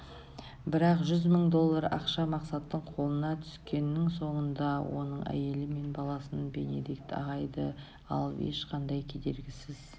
бірақ жүз мың доллар ақша мақсаттың қолына түскеннің соңында оның әйелі мен баласын бенедикт ағайды алып ешқандай кедергісіз